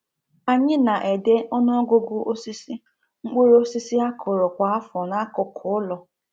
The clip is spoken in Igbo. Anyị na-ede ọnụ ọgụgụ osisi mkpụrụ osisi a kụrụ kwa afọ n’akụkụ ụlọ.